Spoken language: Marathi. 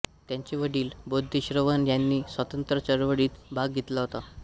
त्यांचे वडील बोधेश्वरन ह्यांनी स्वातंत्र्य चळवळीत भाग घेतला होता